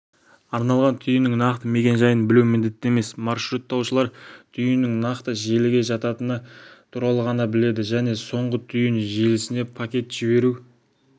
арналған түйіннің нақты мекен-жайын білу міндетті емес маршруттаушылар түйіннің нақты желіге жататыны туралы ғана біледі және соңғы түйін желісіне пакет жіберу